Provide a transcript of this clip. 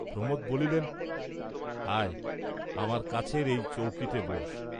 প্রমোদ বলিলেন, "আয় আমার কাছের এই চৌকিতে বোস্।"